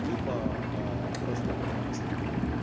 либо а просто нет мест